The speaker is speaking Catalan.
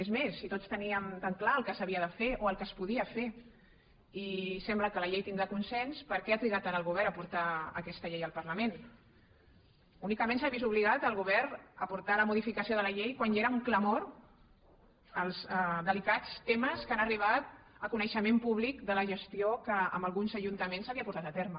és més si tots teníem tan clar el que s’havia de fer o el que es podia fer i sembla que la llei tindrà consens per què ha trigat tant el govern a portar aquesta llei al parlament únicament s’ha vist obligat el govern a portar la modificació de la llei quan ja eren un clamor els delicats temes que han arribat a coneixement públic de la gestió que en alguns ajuntaments s’havia portat a terme